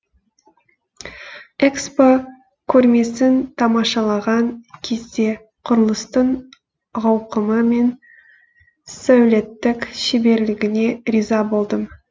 экспо көрмесін тамашалаған кезде құрылыстың ауқымы мен сәулеттік шеберлігіне риза болдым